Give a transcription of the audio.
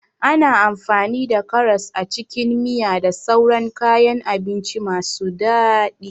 Ana amfani da karas a cikin miya da sauran kayan abinci masu daɗi.